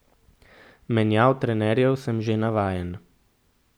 Menjav trenerjev sem že navajen.